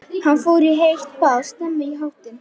Hann fór í heitt bað og snemma í háttinn.